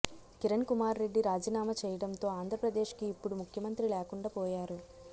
కిరణ్ కుమార్ రెడ్డి రాజీనామా చేయడంతో ఆంధ్రప్రదేశ్కి ఇప్పుడు ముఖ్యమంత్రి లేకుండా పోయారు